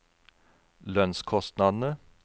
lønnskostnadene